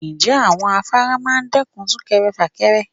Ǹjẹ́ àwọn afárá máa dẹ́kun súnkẹrẹ fàkẹrẹ?